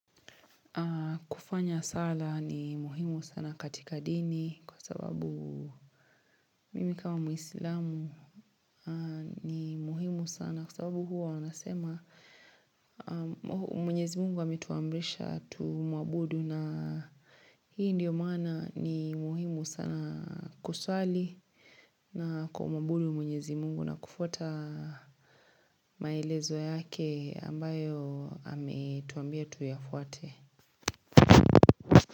Kufanya sala ni muhimu sana katika dini kwa sababu mimi kama muislamu ni muhimu sana kwa sababu huwa wanasema mwenyezi mungu ametuamrisha tu mwabudu na hii ndiyo maana ni muhimu sana kuswali na kumwabudu mwenyezi mungu na kufuata maelezo yake ambayo ametuambia tuyafuate.